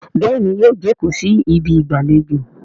béèni yíò joko sí Ibi ìgbàlejò.